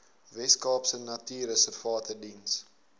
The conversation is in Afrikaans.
weskaapse natuurreservate diens